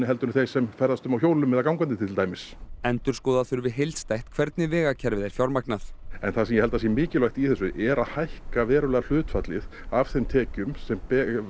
en þeir sem ferðast um á hjólum eða gangandi til dæmis endurskoða þurfi heildstætt hvernig vegakerfið er fjármagnað en það sem ég held að sé mikilvægt í þessu er að hækka verulega hlutfallið af þeim tekjum sem